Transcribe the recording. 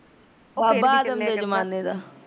ਬਾਬਾ ਆਦਮ ਦੇ ਜਮਾਨੇ ਦਾ